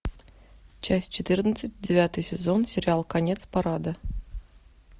часть четырнадцать девятый сезон сериал конец парада